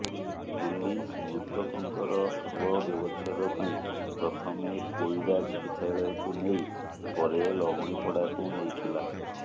police ମୃତକଙ୍କର ଶବବ୍ୟବଚ୍ଛେଦ ପାଇଁ ପ୍ରଥମେ କୋଇଡ଼ା ଚିକିତ୍ସାଳୟକୁ ନେଇ ପରେ ଲହୁଣୀପଡ଼ାକୁ ନେଇଥିଲା